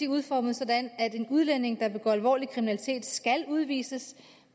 udformet sådan at en udlænding der begår alvorlig kriminalitet skal udvises